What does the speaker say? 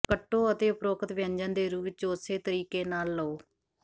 ਕੱਟੋ ਅਤੇ ਉਪਰੋਕਤ ਵਿਅੰਜਨ ਦੇ ਰੂਪ ਵਿੱਚ ਉਸੇ ਤਰੀਕੇ ਨਾਲ ਲਓ